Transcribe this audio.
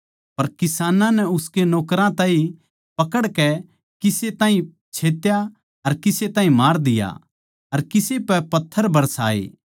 पर किसानां नै उसके नौकरां ताहीं पकड़कै किसे ताहीं छेत्या अर किसे ताहीं मार दिया अर किसे पै पत्थर बरसाए